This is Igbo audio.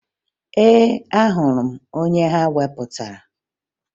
Ee, ahụrụ m onye ha wepụtara